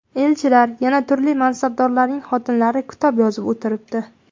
Elchilar, yana turli mansabdorlarning xotinlari kitob yozib o‘tiribdi.